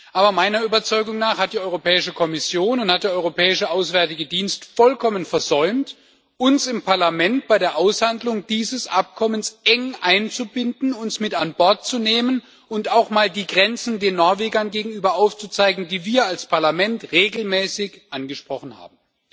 Aber meiner Überzeugung nach hat die Europäische Kommission und hat der Europäische Auswärtige Dienst vollkommen versäumt, uns im Parlament bei der Aushandlung dieses Abkommens eng einzubinden, uns mit an Bord zu nehmen und auch mal die Grenzen den Norwegern gegenüber aufzuzeigen, die wir als Parlament regelmäßig angesprochen haben.